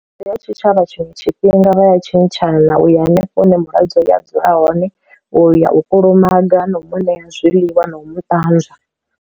Ndi ya tshitshavha tshiṅwe tshifhinga vha ya tshintshana na u ya hanefho hune mulwadze ya dzula hone u ya u kulumaga na u muṋe ya zwiḽiwa na u mu ṱanzwa.